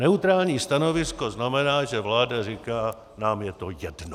Neutrální stanovisko znamená, že vláda říká "nám je to jedno".